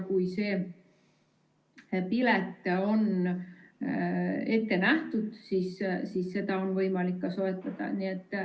Kui see pilet on ette nähtud, siis seda on võimalik ka soetada.